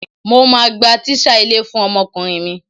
Mo máa gba tíṣà ilé fún ọmọkùnrin mi.